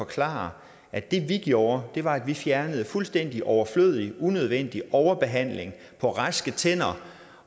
forklare at det vi gjorde var at vi fjernede en fuldstændig overflødig og unødvendig overbehandling på raske tænder